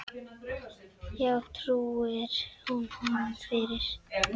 Já, trúir hún honum fyrir.